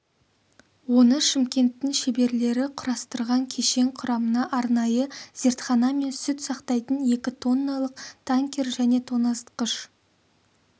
оны шымкенттің шеберлері құрастырған кешен құрамына арнайы зертхана мен сүт сақтайтын екі тонналық танкер және тоңазытқыш